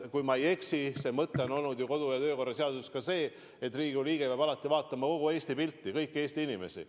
Kui ma ei eksi, siis see mõte on ka kodu- ja töökorra seaduses, et Riigikogu liige peab alati vaatama kogu Eesti pilti, kõiki Eesti inimesi.